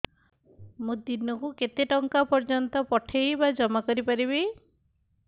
ମୁ ଦିନକୁ କେତେ ଟଙ୍କା ପର୍ଯ୍ୟନ୍ତ ପଠେଇ ବା ଜମା କରି ପାରିବି